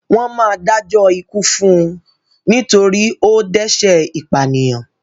Wọ́n máa dájọ́ ikú fún un nítorí ó dẹ́ṣẹ̀ ìpànìyàn.